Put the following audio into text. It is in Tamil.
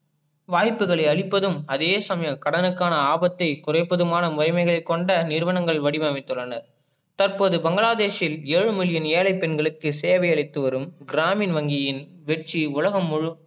வாய்புகளை அழிப்பதும் அதே சமயம் கடனுக்கான ஆபத்தை குறைப்பதுமான முறைமைகளை கொண்ட நிறுவங்கள் வடிவமைத்து உள்ளன, தற்போது பங்கலாதேஷ்யில் ஏழு மில்லியன் ஏழை பெண்களுக்கு சேவை அளித்துவரும் கிராமின் வங்கியின் வெற்றி உலகம்